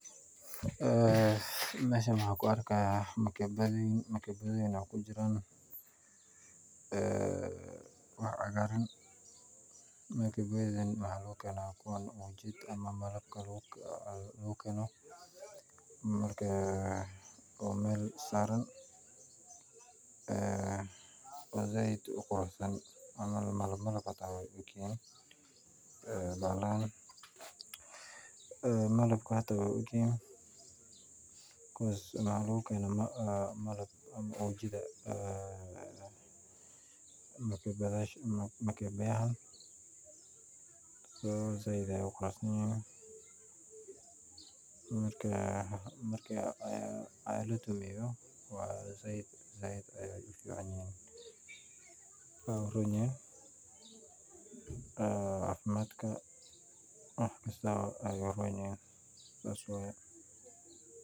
Aa Mashan waxan ku argah magabadoyin wax ku jiran, aa wax cagaran magabadoyinka wax lagu ganah kuwa ujada ama malbka lagu ganoh, marka oo mal saran aa oo said uu quruxsan camal malmal ay ugyihin, aa malbka way u agyihin, becuse malbka ama ujida aa magabadasha so said ayu quruxsanyihin, so marka said ay u fican yihin, waxay u ronyihin aa cafimadka wax kaasta ayay u roonyihin saas waya.